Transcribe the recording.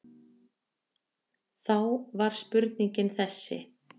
Þá var spurningin þessi